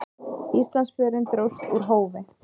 Íslandsförin dróst úr hófi.